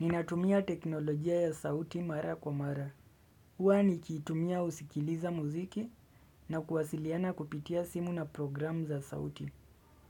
Ninatumia teknolojia ya sauti mara kwa mara. Huwa nikiitumia husikiliza muziki na kuwasiliana kupitia simu na programu za sauti.